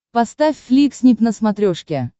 поставь фликснип на смотрешке